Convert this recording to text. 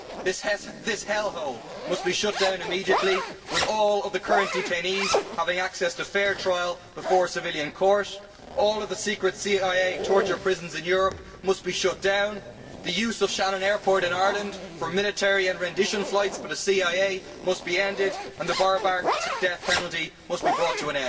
This hell hole must be shut down immediately with all of the current detainees having access to fair trial before a civilian court, all of the secret CIA torture prisons in Europe must be shut down, the use of Shannon airport in Ireland for military and rendition flights by the CIA must be ended, and the barbaric death penalty must be brought to